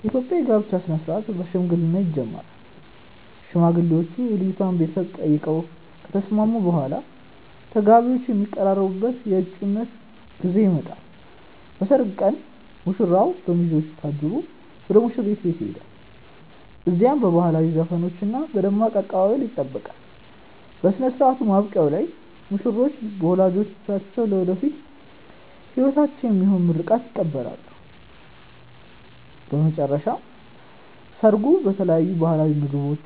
የኢትዮጵያ የጋብቻ ሥነ ሥርዓት በሽምግልና ይጀምራል። ሽማግሌዎች የልጅቷን ቤተሰቦች ጠይቀው ከተስማሙ በኋላ፣ ተጋቢዎቹ የሚቀራረቡበት የእጮኝነት ጊዜ ይመጣል። በሰርግ ቀን ሙሽራው በሚዜዎቹ ታጅቦ ወደ ሙሽሪት ቤት ይሄዳል። እዚያም በባህላዊ ዘፈኖችና በደማቅ አቀባበል ይጠበቃል። በሥነ ሥርዓቱ ማብቂያ ላይ ሙሽሮች በወላጆቻቸው ለወደፊት ሕይወታቸው የሚሆን ምርቃት ይቀበላሉ። በመጨረሻም ሰርጉ በተለያዩ ባህላዊ ምግቦች፣